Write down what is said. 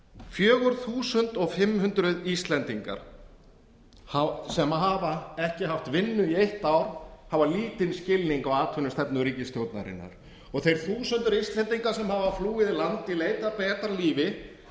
fjögur þúsund fimm hundruð íslendingar sem hafa ekki haft vinnu í eitt ár hafa lítinn skilning á atvinnustefnu ríkisstjórnarinnar ári r þúsundir íslendinga sem hafa flúið land í leit að betra lífi